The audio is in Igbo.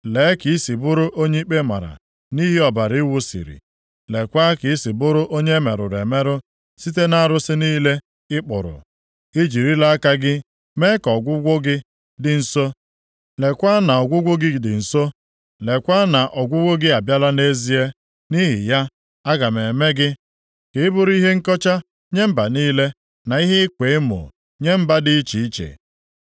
Lee ka i si bụrụ onye ikpe mara nʼihi ọbara ị wụsiri. Leekwa ka i si bụrụ onye e merụrụ emerụ site nʼarụsị niile ị kpụrụ. I jirila aka gị mee ka ọgwụgwụ gị dị nso, leekwa na ọgwụgwụ gị dị nso, leekwa na ọgwụgwụ gị abịala nʼezie. Nʼihi ya, aga m eme gị ka ị bụrụ ihe nkọcha nye mba niile, na ihe ịkwa emo nye mba dị iche iche.